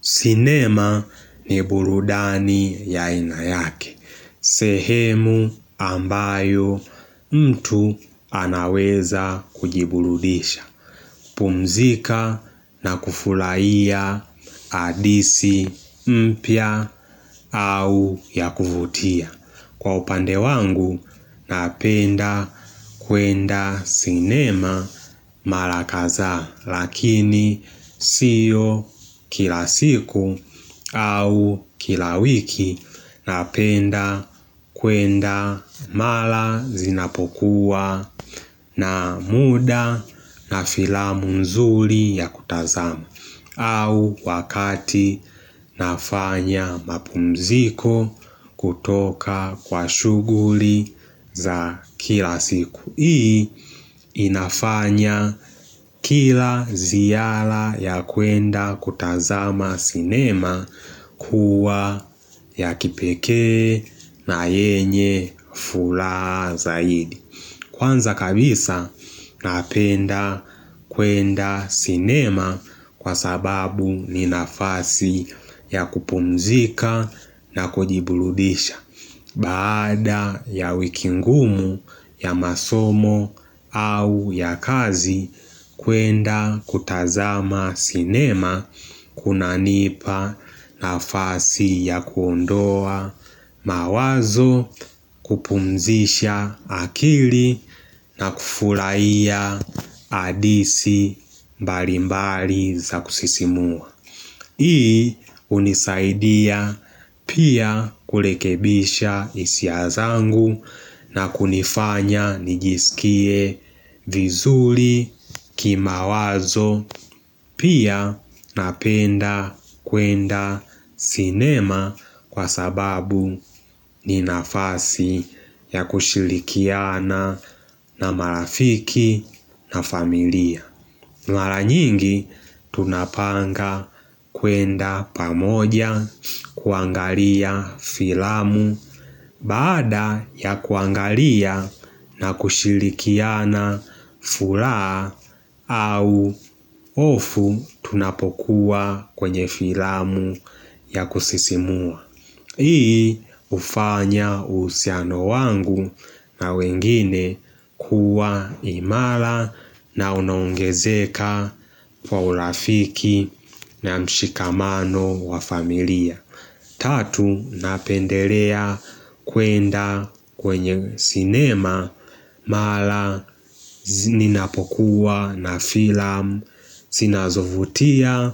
Sinema ni burudani ya aina yake. Sehemu ambayo mtu anaweza kujiburudisha. Pumzika na kufulaia hadisi mpya au ya kuvutia. Kwa upande wangu napenda kwenda sinema mara kazaa. Lakini siyo kila siku au kila wiki napenda kwenda mala zinapokuwa na muda na filamu nzuli ya kutazama au wakati nafanya mapumziko kutoka kwa shuguli za kila siku hii inafanya kila ziyala ya kwenda kutazama sinema kuwa ya kipekee na yenye fulaha zaidi Kwanza kabisa napenda kwenda sinema kwa sababu ni nafasi ya kupumzika na kujibuludisha Baada ya wiki ngumu ya masomo au ya kazi kwenda kutazama sinema kuna nipa nafasi ya kuondoa mawazo kupumzisha akili na kufurahia adisi mbali mbali za kusisimua. Hii hunisaidia pia kulekebisha hisia zangu na kunifanya nijisikie vizuli kimawazo pia napenda kwenda sinema kwa sababu ni nafasi ya kushilikiana na marafiki na familia mala nyingi tunapanga kwenda pamoja kuangalia filamu baada ya kuangalia na kushilikiana fulaha au ofu tunapokuwa kwenye filamu ya kusisimua. Hii hufanya uhusiano wangu na wengine kuwa imala na unaongezeka kwa urafiki na mshikamano wa familia Tatu napendelea kwenda kwenye sinema mala zinapokuwa na filamu sinazovutia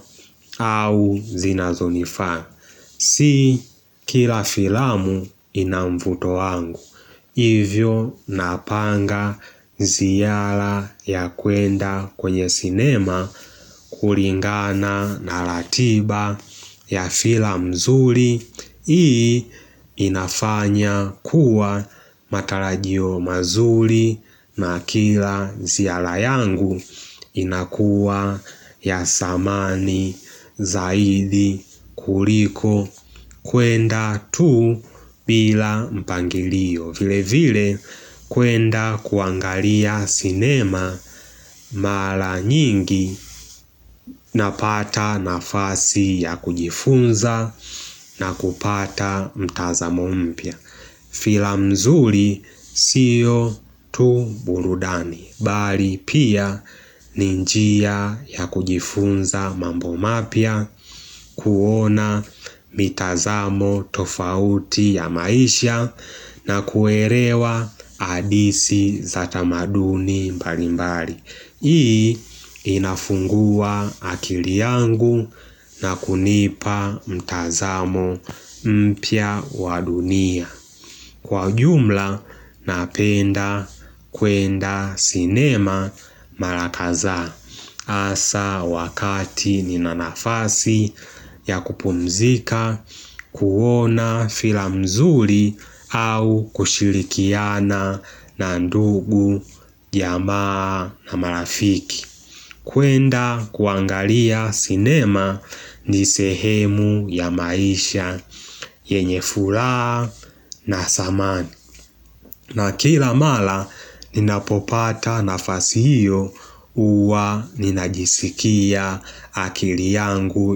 au zinazonifaa Si kila filamu ina mvuto wangu hivyo napanga ziala ya kuenda kwenye sinema kulingana na latiba ya filamu nzuri hii inafanya kuwa matalajio mazuri na kila ziala yangu inakuwa ya samani zaidi kuliko kwenda tu bila mpangilio vile vile kwenda kuangalia sinema mala nyingi Napata nafasi ya kujifunza na kupata mtazamo mpya Filamu nzuri siyo tu burudani bali pia ni njia ya kujifunza mambo mapya kuona mitazamo tofauti ya maisha na kuerewa hadisi za tamaduni mbali mbali Hii inafungua akili yangu na kunipa mtazamo mpia wadunia Kwa jumla napenda kwenda sinema mara kazaa Asa wakati nina nafasi ya kupumzika kuona filam nzuri au kushirikiana na ndugu jamaa na marafiki kwenda kuangalia sinema ni sehemu ya maisha yenye fulaha na samani na kila mala ninapopata nafasi hiyo huwa ninajisikia akili yangu.